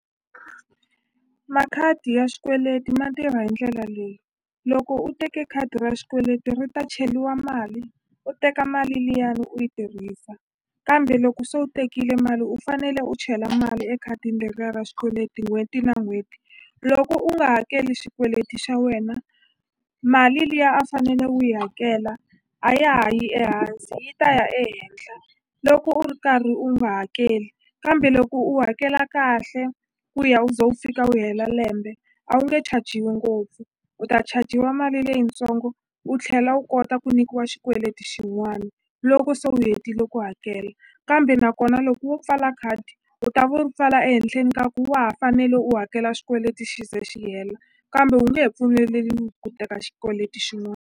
Makhadi ya xikweleti ma tirha hi ndlela leyi loko u teke khadi ra xikweleti ri ta cheliwa mali u teka mali liyani u yi tirhisa kambe loko se u tekile mali u fanele u chela mali ekhadini leriya ra xikweleti n'hweti na n'hweti loko u nga hakeli xikweleti xa wena mali liya a fanele u yi hakela a ya ha yi ehansi yi ta ya ehenhla loko u ri karhi u nga hakeli kambe loko u hakela kahle ku ya u ze u fika u hela lembe a wu nge chajiwi ngopfu u ta chajiwa mali leyitsongo u tlhela u kota ku nyikiwa xikweleti xin'wana loko se u hetile ku hakela kambe nakona loko wo pfala khadi u ta ve u ri pfala ehenhleni ka ku wa ha fanele u hakela xikweleti xi ze xi hela kambe u nge he pfumeleliwi ku teka xikweleti .